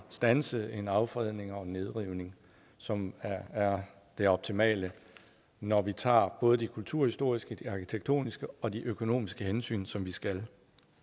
standse en affredning og en nedrivning som er det optimale når vi tager både de kulturhistoriske de arkitektoniske og de økonomiske hensyn som vi skal